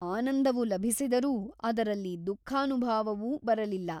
ಆನಂದವು ಲಭಿಸಿದರೂ ಅದರಲ್ಲಿ ದುಃಖಾನುಭಾವವು ಬರಲಿಲ್ಲ.